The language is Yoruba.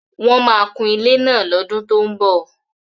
Wọ́n máa kùn ilé náà lọ́dún tó ń bọ̀.